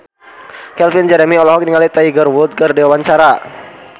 Calvin Jeremy olohok ningali Tiger Wood keur diwawancara